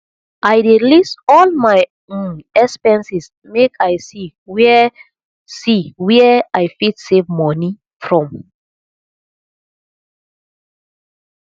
i dey list all my um expenses make i see where see where i fit save moni from